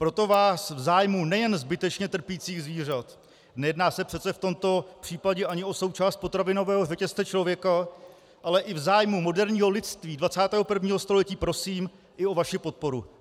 Proto vás v zájmu nejen zbytečně trpících zvířat, nejedná se přece v tomto případě ani o součást potravinového řetězce člověka, ale i v zájmu moderního lidství 21. století prosím i o vaši podporu.